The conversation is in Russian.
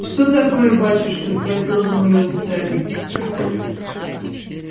что такое батюшка спросил изумлённый старик